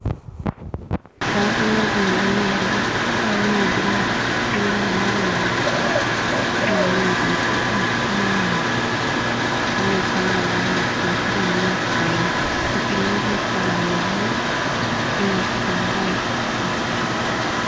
kapingogen konyolu, aunee kila mara kila wikit astoiin tuguchon kayoe ingokiet sigomuch kotilillit kapingogen simosich ingogaik stress